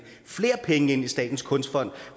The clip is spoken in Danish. flere penge ind i statens kunstfond